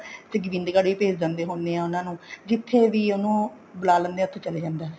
ਗੋਬਿੰਦ ਗੜ ਵੀ ਭੇਜ ਦਿੰਦੇ ਹੁੰਦੇ ਆ ਉਹਨਾ ਨੂੰ ਜਿੱਥੇ ਵੀ ਉਹਨੂੰ ਬੁਲਾ ਲੈਂਦੇ ਆ ਉੱਥੇ ਚਲਾ ਜਾਂਦਾ